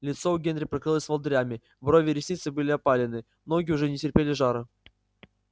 лицо у генри покрылось волдырями брови и ресницы были опалены ноги уже не терпели жара